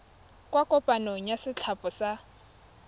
kwa kopanong ya setlhopha sa